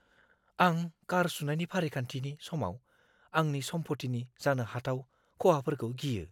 आं कार सुनायनि फारिखान्थिनि समाव आंनि सम्पथिनि जानो हाथाव खहाफोरखौ गियो।